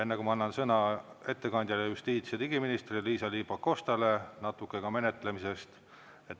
Enne kui ma annan sõna ettekandjale, justiits- ja digiministrile Liisa-Ly Pakostale, natuke ka menetlemisest.